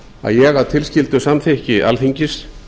að ég að tilskildu samþykki alþingis